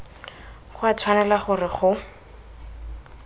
go a tshwanela gore go